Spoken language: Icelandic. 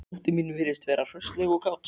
Dóttir mín virðist vera hraustleg og kát